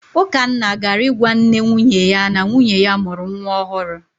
Ukanna gara ịgwa nne nwunye ya na nwunye ya mụrụ nwa ọhụrụ.